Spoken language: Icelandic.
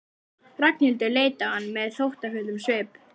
Ragnhildur leit á hann með þóttafullum svip.